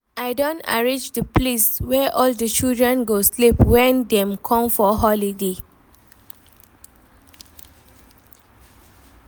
I don arrange the place wey all the children go sleep wen dem come for holiday